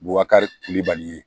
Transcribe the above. Bubakari kulibali ye